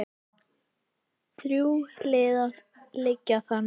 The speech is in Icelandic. Þrjú hlið liggja þangað inn.